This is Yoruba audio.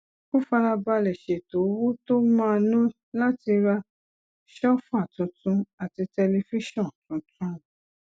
ó fara balè ṣètò owó tó máa ná láti ra sóòfà tuntun àti tẹlifíṣòn tuntun